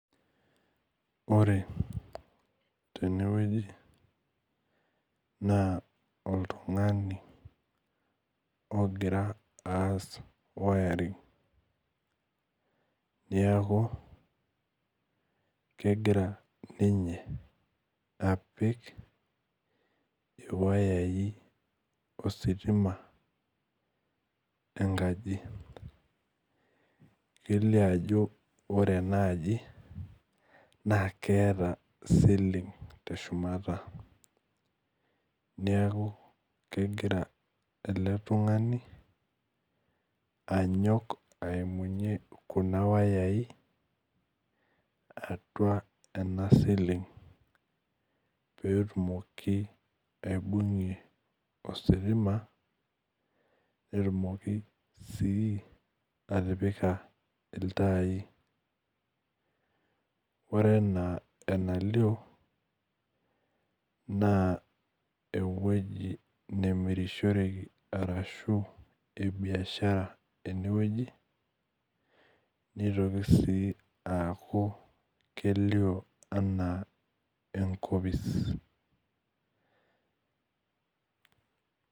Ore tene wueji naa oltungani ogira aas wiring neeku, kegira ninye apik, iwayai ositima enkaji. kelio ajo ore ena aji naa keeta ceiling teshumata. neeku kegira ele tungani, anyok aimunyie Kuna wayai atua ena ceiling pee etumoki aibungie ositima netumoki sii atipika iltai. ore enaa ena lioo naa ewueji nemkrishoreki. araashu ewueji esokoni ena wueji. neitoki sii aku kelio anaa enkopis.